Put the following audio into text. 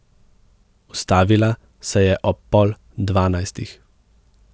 Ustavila se je ob pol dvanajstih.